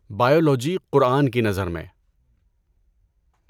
biology قرآن کی نظر میں